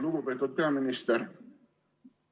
Lugupeetud peaminister!